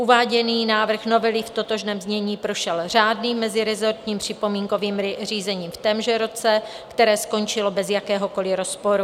Uváděný návrh novely v totožném znění prošel řádným mezirezortním připomínkovým řízením v témže roce, které skončilo bez jakéhokoli rozporu.